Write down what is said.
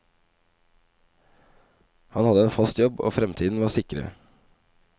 Han hadde en fast jobb, fremtiden var sikret.